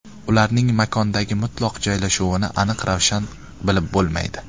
Ularning makondagi mutlaq joylashuvini aniq-ravshan bilib bo‘lmaydi.